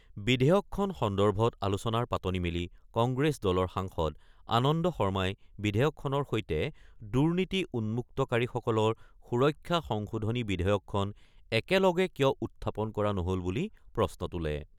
বিধেয়কখন সন্দৰ্ভত আলোচনাৰ পাতনি মেলি কংগ্ৰেছ দলৰ সাংসদ আনন্দ শৰ্মাই বিধেয়কখনৰ সৈতে দুৰ্নীতি উন্মুক্তকাৰীসকলৰ সুৰক্ষা সংশোধনী বিধেয়কখন একেলগে কিয় উত্থাপন কৰা নহ'ল বুলি প্ৰশ্ন তোলে।